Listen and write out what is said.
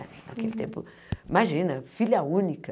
Naquele tempo, imagina, filha única.